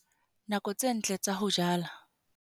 Nako tse ntle tsa ho jala.